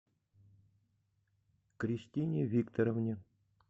кристине викторовне